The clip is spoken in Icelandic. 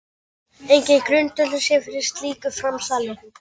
Enginn grundvöllur sé fyrir slíku framsali